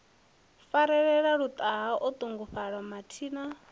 farelela luṱaha o ṱungufhala mathina